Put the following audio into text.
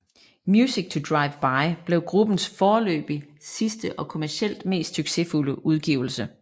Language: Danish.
Music To Driveby blev gruppens foreløbig sidste og kommercielt mest succesfulde udgivelse